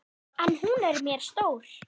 En hún er mér stór.